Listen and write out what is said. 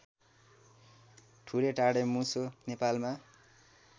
ठुटे ढाडेमुसो नेपालमा